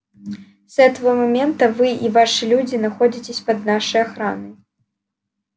с этого момента вы и ваши люди находитесь под нашей охраной